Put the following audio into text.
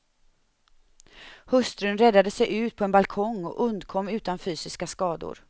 Hustrun räddade sig ut på en balkong och undkom utan fysiska skador.